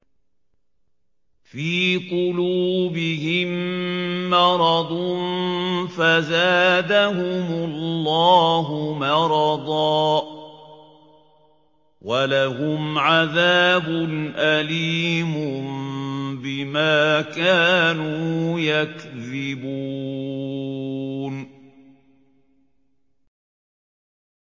فِي قُلُوبِهِم مَّرَضٌ فَزَادَهُمُ اللَّهُ مَرَضًا ۖ وَلَهُمْ عَذَابٌ أَلِيمٌ بِمَا كَانُوا يَكْذِبُونَ